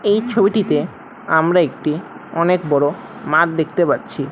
এই ছবিটিতে আমরা একটি অনেক বড় মাঠ দেখতে পাচ্ছি।